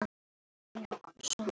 Hvílík skömm á allri sköpun.